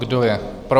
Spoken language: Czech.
Kdo je pro?